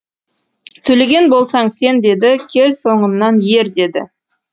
төлеген болсаң сен деді кел соңымнан ер деді